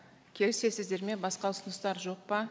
келісесіздер ме басқа ұсыныстар жоқ па